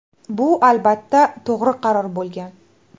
Bu, albatta, to‘g‘ri qaror bo‘lgan.